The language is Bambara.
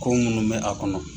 Ko minnu bɛ a kɔnɔ.